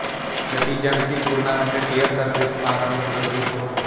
ਨਤੀਜਾ ਮਿਤੀ tournament tier surface partner ਵਿਰੋਧੀ ਸਕੋਰ